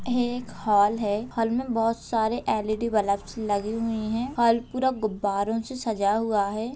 ये एक हॉल है। हॉल में बहोत सारे एल.इ.डी. बल्ब्स लगे हुए हैं। हॉल पूरा गुब्बारो से सजा हुआ है।